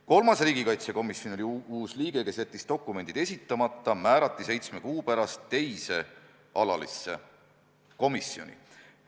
Kolmas riigikaitsekomisjoni uus liige, kes jättis dokumendid esitamata, määrati seitsme kuu pärast teise alalisse komisjoni.